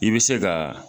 I bɛ se ka